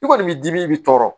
I kɔni b'i dimi i bɛ tɔɔrɔ